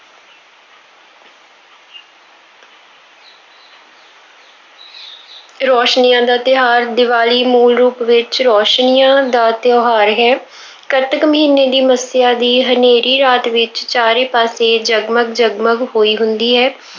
ਰੌਸ਼ਨੀਆਂ ਦਾ ਤਿਉਹਾਰ- ਦੀਵਾਲੀ ਮੂਲ ਰੂਪ ਵਿੱਚ ਰੌਸ਼ਨੀਆਂ ਦਾ ਤਿਉਹਾਰ ਹੈ। ਕੱਤਕ ਮਹੀਨੇ ਦੀ ਮੱਸਿਆ ਦੀ ਹਨੇਰੀ ਰਾਤ ਵਿੱਚ ਚਾਰੇ ਪਾਸੇ ਜਗ-ਮਗ ਜਗ-ਮਗ ਹੋਈ ਹੁੰਦੀ ਹੈ।